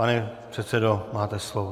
Pane předsedo, máte slovo.